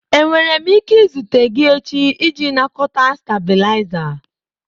Enwere m ike izute gị echi iji nakọta stabilizer?